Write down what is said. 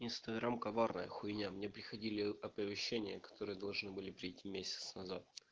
инстаграм коварная хуйня мне приходили оповещения которые должны были прийти месяц назад